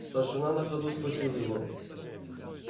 старшина на ходу схватил его